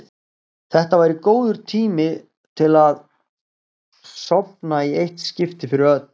Þetta væri góður tími til að sofna í eitt skipti fyrir öll.